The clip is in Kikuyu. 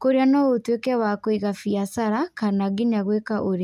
kũrĩa no ũtuĩke wa kũiga biacara, kana nginya gwĩka ũrĩa.